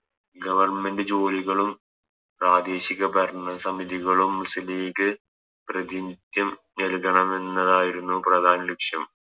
Government ജോലികളും പ്രാദേശിക ഭരണ സമിതികളും മുസ്ലിം ലീഗ് പ്രതിനിത്യം നല്കണമെന്നതായിരുന്നു പ്രധാന ലക്ഷ്യം